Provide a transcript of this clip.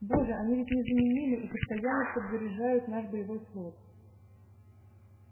боже они ведь незаменимы и постоянно подзаряжают наш боевой флот